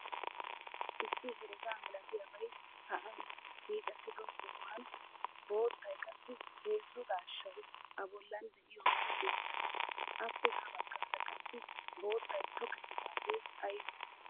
Issi herega milatiyabay sa'an hiixettido sohuwan boottay qassi heezzu daashshay a bollan de'iyoge beettees. Appe ha baggaara qassi boottay tokkettidage aybe?